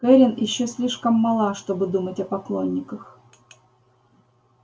кэррин ещё слишком мала чтобы думать о поклонниках